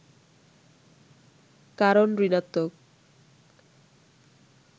কারণ ঋণাত্নক